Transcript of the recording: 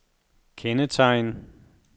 kendetegn